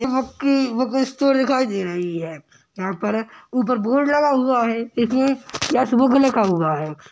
यहाँ की book store दिखाई दे रही है यहाँ पर ऊपर बोर्ड लगा हुआ है जिसमे यश बुक लिखा हुआ है।